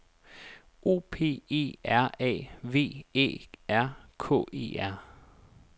O P E R A V Æ R K E R